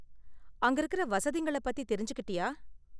அங்க இருக்குற வசதிங்கள பத்தி தெரிஞ்சுக்கிட்டியா?